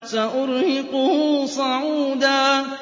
سَأُرْهِقُهُ صَعُودًا